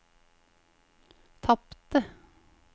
tapte